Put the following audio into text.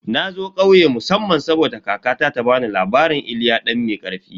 Na zo ƙauye musamman saboda kakata ta bani labarin "Iliya dan mai karfi"